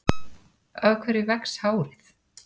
Af hverju vex hárið?